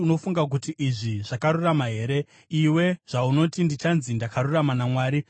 “Unofunga kuti izvi zvakarurama here? Iwe zvaunoti, ‘Ndichanzi ndakarurama naMwari.’